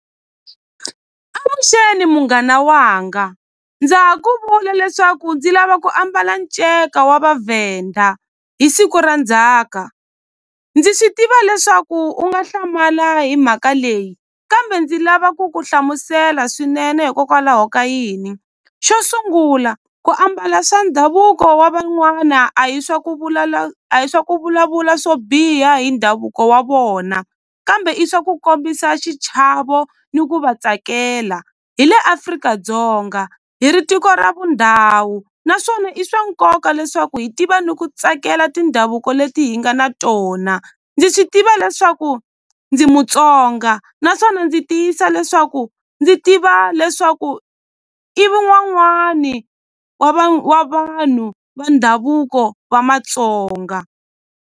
Avuxeni munghana wanga, ndza ha ku vula leswaku ndzi lava ku ambala nceka wa Vavhenda hi siku ra ndzhaka ndzi swi tiva leswaku u nga hlamala hi mhaka leyi kambe ndzi lava ku ku hlamusela swinene hikokwalaho ka yini xo sungula ku ambala swa ndhavuko wa van'wana a hi swa ku a hi swa ku vulavula swo biha hi ndhavuko wa vona kambe i swa ku kombisa xichavo ni ku va tsakela hi le Afrika-Dzonga hi ri tiko ra vundhawu naswona i swa nkoka leswaku hi tiva ni ku tsakela tindhavuko leti hi nga na tona ndzi swi tiva leswaku ndzi Mutsonga naswona ndzi tiyisa leswaku ndzi tiva leswaku wa wa vanhu va ndhavuko wa Matsonga.